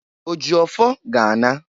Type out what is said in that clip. O ji ọfọ ga-a na.